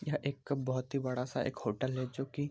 यहाँ एक बहुत ही बड़ा सा होटल है जो की --